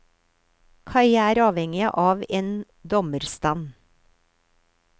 Kaja er avhengig av en dommerstand.